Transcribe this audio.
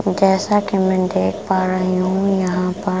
जैसा कि मैं देख पा रही हूँ यहाँ पर --